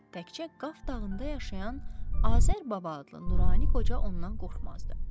Təkcə Qaf dağında yaşayan Azər Baba adlı nurani qoca ondan qorxmazdı.